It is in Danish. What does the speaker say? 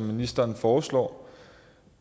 ministeren foreslår